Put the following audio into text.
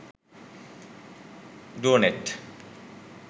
doenet